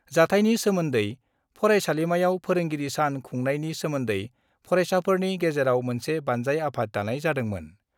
जाथायनि सोमोन्दै फरायसालिमायाव फोरोंगिरि सान खुंनायनि सोमोन्दै फरायसाफोरनि गेजेरावनो मोनसे बान्जाय आफाद दानाय जादोंमोन।